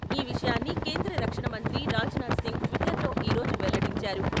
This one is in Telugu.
ఈ విషయాన్ని కేంద్ర రక్షణమంత్రి రాజ్నాథ్ సింగ్ ట్విటర్లో ఈ రోజు వెల్లడించారు.